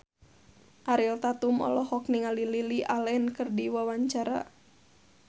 Ariel Tatum olohok ningali Lily Allen keur diwawancara